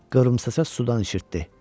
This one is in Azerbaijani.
Qıvrımsaça sudan içirtdi.